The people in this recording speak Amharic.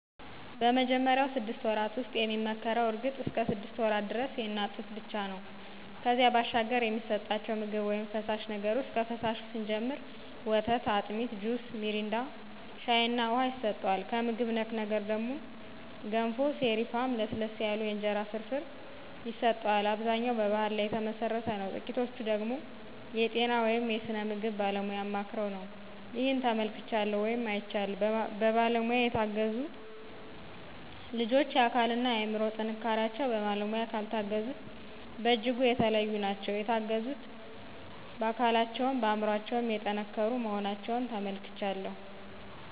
በመጀመሪያው ስድስት ወራት ውስጥ የሚመከረው እርግጥ እስከ ሰድስት ወራት ደረስ የእናት ጡት ብቻ ነው ነበር ከዚያ ባሻገር የሚሰጠቸው ምግብ ውይም ፈሳሽ ነገር ውሰጥ ከፈሳሹ ስንጀምር ወተት፣ አጢሚት፣ ጁስ ሚሪንዳ፣ ሻይ እና ውሃ ይሰጠዋል። ከምግብ ነክ ነገር ደግሞ ገንፎ፣ ሰሪፍ፣ ለስለስ ያሉ የእንጀራ ፍርፍር ይሰጠዋል። አብዛኛው በባሕል ላይ ተመሠረተ ነው ጥቂቶቹ ደገሞ የጤና ወይም የስነ ምግብ ባለሙያ አማክረው ነው። ይህን ተመልክቻለሁ ወይም አይቻለሁም። በባለሙያ የተገዙት ልጆች የአካል እና የአምሮ ጥንካሪቸው በባለሙያ ካልታገዙት በጅጉ የተለዩ ናቸው። የተገዙት በአካለቸውም በአምሮቸው የጠንከሩ መሆናቸውን ተመልክቻለሁ።